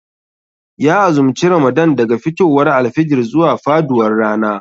Ya azumci ramadan daga fitowar alfijir zuwa faduwar rana